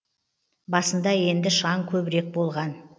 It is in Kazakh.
басында енді шаң көбірек болған